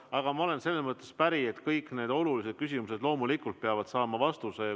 Aga ma olen selles mõttes päri, et kõik need olulised küsimused loomulikult peavad saama vastuse.